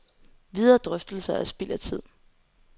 Videre drøftelser er spild af tid.